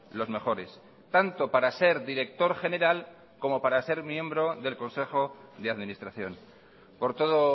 los mejores tanto para ser director general como para ser miembro del consejo de administración por todo